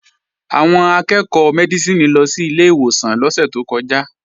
Àwọn akẹ́ẹ̀kọ́ Mẹ́dísìnì lọ sí ilé ìwòsàn lọ́sẹ̀ tó kọjá